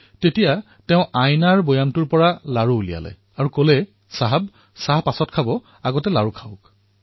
তেওঁৰ ওচৰত থকা আইনাৰ পাত্ৰৰ পৰা লাড়ু উলিয়াই কলে চাহাব চাহ খোৱাৰ পূৰ্বে এই লাড়ুটো খাওক